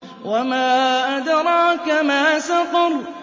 وَمَا أَدْرَاكَ مَا سَقَرُ